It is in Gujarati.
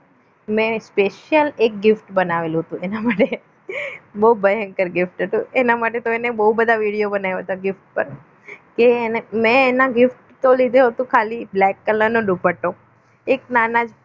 મેં special એક gift બનાવેલું હતું એના માટે બહુ ભયંકર હતું એના માટે તો એને બહુ બધા વિડીયો બનાવ્યા હતા gift પર કે એને મેં એના gift ખાલી black color નો દુપટ્ટો એક નાના